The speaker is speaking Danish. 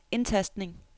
indtastning